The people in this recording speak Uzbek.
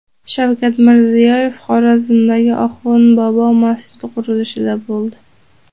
Shavkat Mirziyoyev Xorazmdagi Oxund bobo masjidi qurilishida bo‘ldi.